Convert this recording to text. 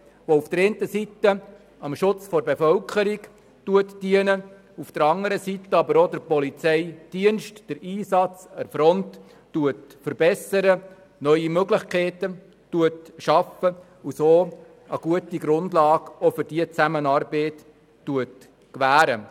Dieses würde einerseits dem Schutz der Bevölkerung dienen, andererseits den Einsatz des Polizeidienstes an der Front verbessern, zudem neue Möglichkeiten schaffen und so auch eine gute Grundlage für diese Zusammenarbeit gewähren.